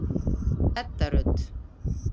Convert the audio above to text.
Edda Rut.